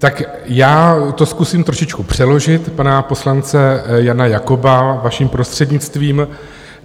Tak já to zkusím trošičku přeložit, pana poslance Jana Jakoba, vaším prostřednictvím.